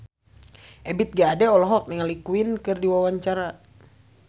Ebith G. Ade olohok ningali Queen keur diwawancara